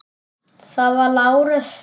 Það var Lárus.